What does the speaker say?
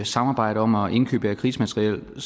samarbejder om at indkøbe af krigsmateriel at